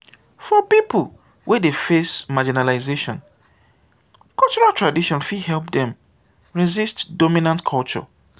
for pipo wey dey face marginalization cultural tradition fit help dem resist dominant culture